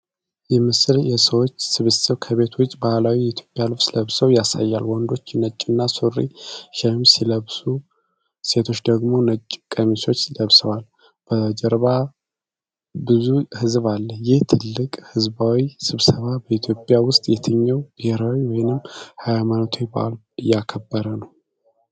ይህ ምስል የሰዎች ስብስብ ከቤት ውጭ ባህላዊ የኢትዮጵያ ልብስ ለብሰው ያሳያል። ወንዶች ነጭ ሱሪና ሸሚዝ ሲለብሱ፣ ሴቶች ደግሞ ነጭ ቀሚሶች ለብሰዋል። በጀርባ ብዙ ሕዝብ አለ። ይህ ትልቅ ህዝባዊ ስብስብ በኢትዮጵያ ውስጥ የትኛውን ብሔራዊ ወይም ሃይማኖታዊ በዓል እያከበረ ነው?